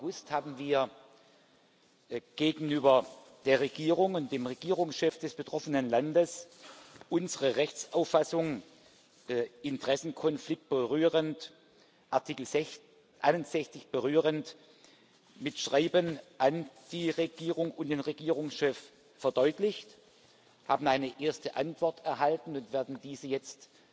2. August, anlangt, haben wir gegenüber der Regierung und dem Regierungschef des betroffenen Landes unsere Rechtsauffassung, Interessenkonflikt Artikel 61 berührend, mit Schreiben an die Regierung und den Regierungschef verdeutlicht. Wir haben eine erste Antwort erhalten und werden diese jetzt